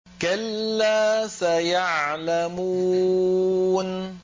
كَلَّا سَيَعْلَمُونَ